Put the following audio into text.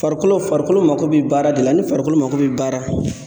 Farikolo farikolo mako be baara de la ni farikolo mako be baara